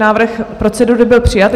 Návrh procedury byl přijat.